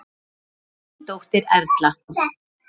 Þín dóttir Erla.